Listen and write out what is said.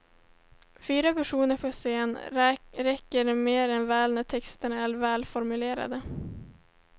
Fyra personer på scen räcker mer än väl när texterna är välformulerade.